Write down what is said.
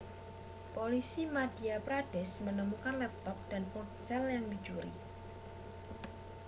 polisi madhya pradesh menemukan laptop dan ponsel yang dicuri